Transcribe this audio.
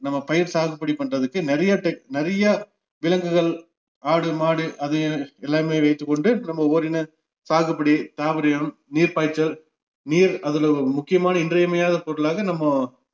நம்ம பயிர் சாகுபடி பண்றதுக்கு நிறைய டெக்~ நிறைய விலங்குகள், ஆடு, மாடு அது எல்லாமே வைத்துக்கொண்டு நம்ம ஓரின~ சாகுபடி நீர்ப்பாய்ச்சல் நீர் அதுல ஒரு முக்கியமான இன்றியமையாத பொருளாக நம்ம